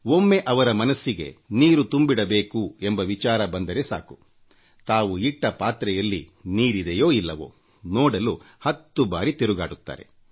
ಒಮ್ಮೆ ಅವರ ಮನಸ್ಸಿಗೆ ಮಹಡಿ ಮೇಲೆ ನೀರು ತುಂಬಿಡಬೇಕು ಎಂಬ ವಿಚಾರ ಬಂದರೆ ಸಾಕು ತಾವು ಇಟ್ಟ ತಟ್ಟೆಯಲ್ಲಿ ನೀರಿದೆಯೋ ಇಲ್ಲವೋ ಎಂದು ನೋಡಲು ಹತ್ತು ಬಾರಿ ಹತ್ತಿ ಇಳಿಯುತ್ತಾರೆ